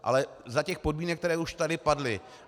Ale za těch podmínek, které tady už padly.